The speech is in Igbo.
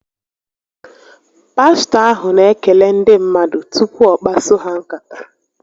Pastọ ahụ n'ekele ndị mmadụ tupu ọ kpaso ha nkata